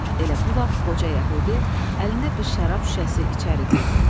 Elə bu vaxt qoca yəhudi əlində bir şərab şüşəsi içəri girdi.